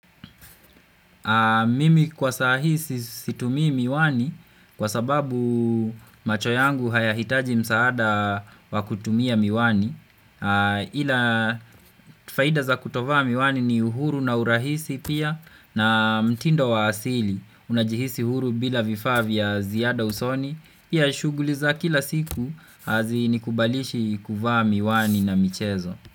Mimi kwa sahii si situmii miwani kwa sababu macho yangu hayahitaji msaada wa kutumia miwani Ila faida za kutovaa miwani ni uhuru na urahisi pia na mtindo wa asili. Unajihisi huru bila vifaa vya ziada usoni pia shughuli za kila siku hazinikubalishi kuvaa miwani na michezo.